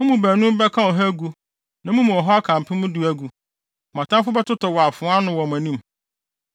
Mo mu baanum bɛka ɔha agu, na mo mu ɔha aka mpem du agu! Mo atamfo bɛtotɔ wɔ afoa ano wɔ mo anim.